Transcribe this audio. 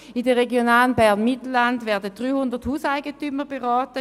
In der Region Bern-Mittelland werden jährlich 300 Hauseigentümer beraten.